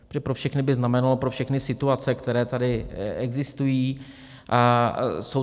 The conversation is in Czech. Protože pro všechny by znamenalo pro všechny situace, které tady existují.